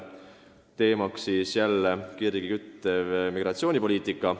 Teemaks endiselt kirgi küttev migratsioonipoliitika.